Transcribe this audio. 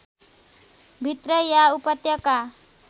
भित्रै या उपत्यका